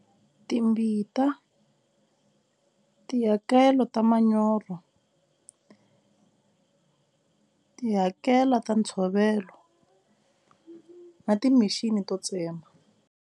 Timbita, tihakelo ta manyoro tihakela ta ntshovelo na ti-machine to tsema.